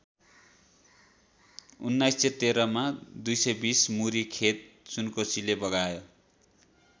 १९१३ मा २२० मुरी खेत सुनकोसीले बगायो।